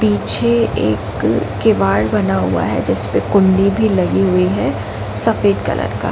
पीछे एक केवार्ड बना हुआ है जिस पे कुंडी भी लगी हुई है सफेद कलर का --